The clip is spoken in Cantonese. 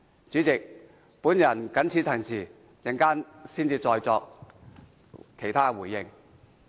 主席，我謹此陳辭，稍後再作其他回應。